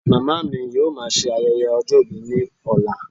Màmá mi yóò má ṣe ayẹyẹ ọjọ́ ìbí ni ọlá